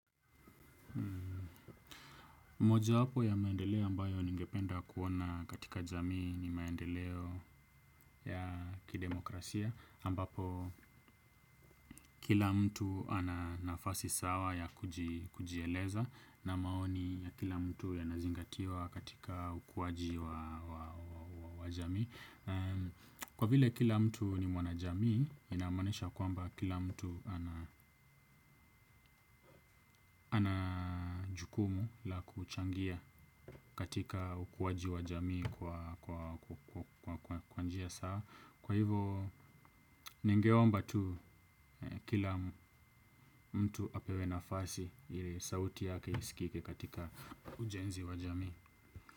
Mojawapo ya maendeleo ambayo ningependa kuona katika jamii ni maendeleo ya kidemokrasia ambapo kila mtu ana nafasi sawa ya kujieleza na maoni ya kila mtu yanazingatiwa katika ukuaji wa jamii. Kwa vile kila mtu ni mwanajamii inamaanisha kwamba kila mtu ana jukumu la kuchangia katika ukuaji wa jamii kwa njia sawa. Kwa hivo ningeomba tu kila mtu apewe nafasi ili sauti yake iskike katika ujenzi wa jamii.